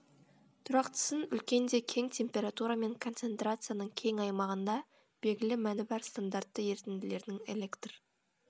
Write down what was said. тұрақтысын үлкен де кең температура мен концентрацияның кең аймағында белгілі мәні бар стандартты ерітінділердің электр